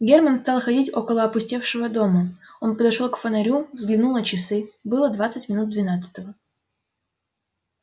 герман стал ходить около опустевшего дома он подошёл к фонарю взглянул на часы было двадцать минут двенадцатого